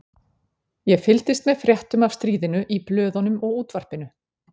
Ég fylgdist með fréttum af stríðinu í blöðunum og útvarpinu.